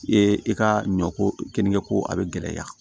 I ye i ka ɲɔ ko keninge ko a bɛ gɛlɛya